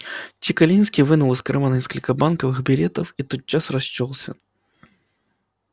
чекалинский вынул из кармана несколько банковых билетов и тот час расчёлся